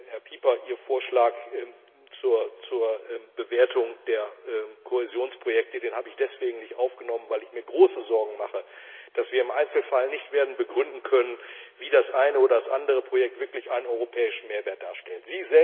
Herr Pieper, Ihren Vorschlag zur Bewertung der Kohäsionsprojekte habe ich deswegen nicht aufgenommen, weil ich mir große Sorgen mache, dass wir im Einzelfall nicht werden begründen können, wie das eine oder andere Projekt wirklich einen europäischen Mehrwert darstellt.